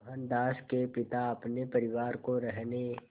मोहनदास के पिता अपने परिवार को रहने